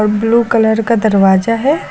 Blue colour का दरवाजा है।